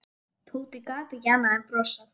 Tóti gat ekki annað en brosað.